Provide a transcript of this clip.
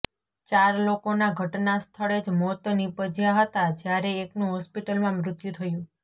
ચાર લોકોના ઘટના સ્થળે જ મોત નીપજયા હતા જ્યારે એકનું હોસ્પિટલમાં મૃત્યું થયું